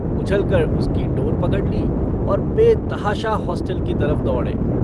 उछलकर उसकी डोर पकड़ ली और बेतहाशा हॉस्टल की तरफ दौड़े।